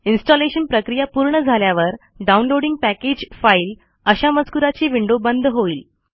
installation प्रक्रिया पूर्ण झाल्यावर डाऊनलोडिंग पॅकेज फाईल अशा मजकूराची विंडो बंद होईल